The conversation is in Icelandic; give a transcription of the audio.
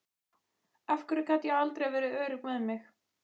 Af hverju gat ég aldrei verið örugg með mig.